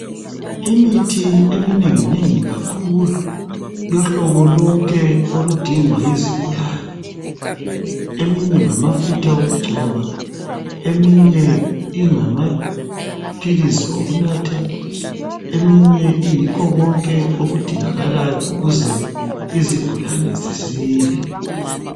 Imithi emnenginengi kakhulu yohlobo lonke oludingwa yizigulane eminye ngamafutha okugcoba eminye ingamaphilizi okunatha eminye iyikho konke okudingakalayo ukuze izigulane zisile.